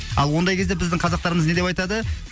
ал ондай кезде біздің қазақтарымыз не деп айтады